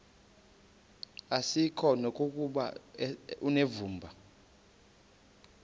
asikuko nokuba unevumba